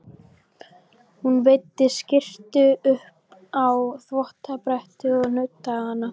Hún veiddi skyrtu upp á þvottabrettið og nuddaði hana.